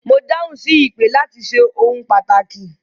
Mo dáhùn sí ìpè láti ṣe ohun pàtàkì